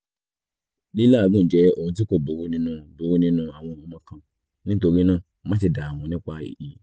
lilàágùn jẹ́ ohun tí kó burú nínú burú nínú àwọn ọmọ kan nítorí náà máṣe dààmú nípa èyí